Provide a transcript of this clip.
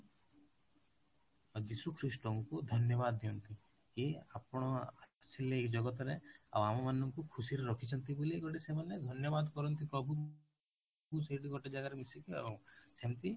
ଯୀଶୁ ଖ୍ରୀଷ୍ଟ ଙ୍କୁ ଧନ୍ୟବାଦ ଦିଅନ୍ତି କି ଆପଣ ଆସିଲେ ଏଇ ଜଗତ ରେ ଆଉ ଆମ ମାନଙ୍କୁ ଖୁସିରେ ରଖିଛନ୍ତି ବୋଲି ଗୋଟେ ସେମାନେ ଧନ୍ୟବାଦ ପ୍ରଭୁ ଙ୍କୁ ସେଇଠି ଗୋଟେ ଜାଗାରେ ମିଶିକି ଆଉ ସେମିତି